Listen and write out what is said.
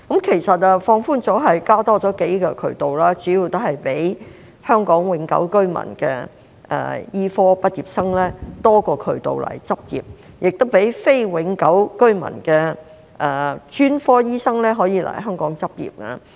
其實放寬主要是增加數個渠道，讓香港永久性居民的醫科畢業生增加來港執業的渠道，也讓非永久性居民的專科醫生可以來港執業。